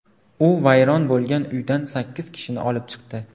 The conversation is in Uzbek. U vayron bo‘lgan uydan sakkiz kishini olib chiqdi.